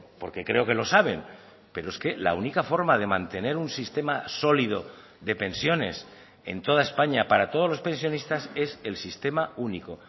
porque creo que lo saben pero es que la única forma de mantener un sistema sólido de pensiones en toda españa para todos los pensionistas es el sistema único